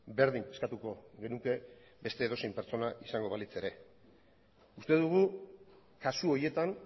berdin eskatuko genuke beste edozein pertsona izango balitz ere uste dugu kasu horietan